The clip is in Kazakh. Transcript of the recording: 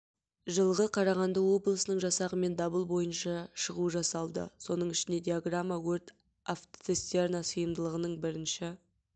жылғы қарағанды облысының жасағымен дабыл бойынша шығу жасалды соның ішінде диаграмма өрт автоцистерна сыйымдылығының бірінші